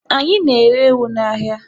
Anyị na-ere ewu n'ahịa.